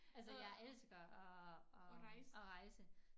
Altså jeg elsker at at at rejse